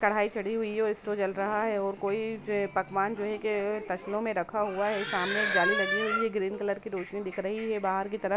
कड़ाई चढ़ी हुई है और इसटोप जल रहा है और कोई पकवान जो है एक तसलो में रखा हुवा है सामने एक जाली लगी हुई है ग्रीन कलर की रौशनी की बहार की तरफ --